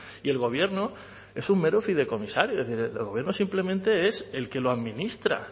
y el gobierno es un mero fidecomisario es decir el gobierno simplemente es el que lo administra